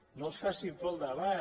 no els faci por el debat